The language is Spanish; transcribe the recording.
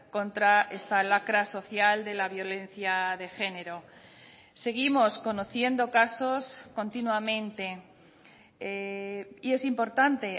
contra esta lacra social de la violencia de género seguimos conociendo casos continuamente y es importante